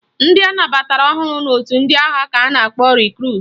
Ndị anabatara ọhụrụ n' otu ndị agha ka a na-akpọ Rekrut.